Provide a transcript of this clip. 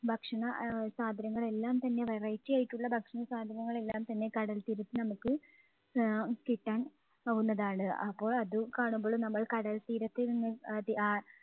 ഭക്ഷണ ആഹ് സാധനങ്ങൾ എല്ലാം തന്നെ variety ആയിട്ടുള്ള ഭക്ഷണസാധനങ്ങൾ എല്ലാംതന്നെ കടൽത്തീരത്ത് നമുക്ക് ആഹ് കിട്ടാൻ ആകുന്നതാണ്. അപ്പോൾ അത് കാണുമ്പോൾ നമ്മൾ കടൽത്തീരത്ത് നിന്നും അത് ആ